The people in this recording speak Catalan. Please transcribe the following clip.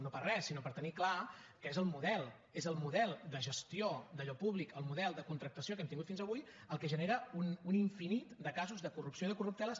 no per re sinó per tenir clar que és el model és el model de gestió d’allò públic el model de contractació que hem tingut fins avui el que genera un infinit de casos de corrupció i de corrupteles